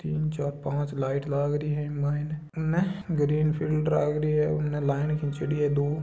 यह तिन चार पांच लाईट लाग रही है इ के मायने इन ग्रीन फील्ड लागरी उने लाइन खींचे डी है दो--